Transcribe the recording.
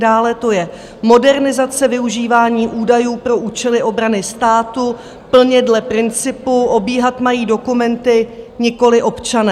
Dále to je modernizace využívání údajů pro účely obrany státu plně dle principu "obíhat mají dokumenty, nikoliv občané".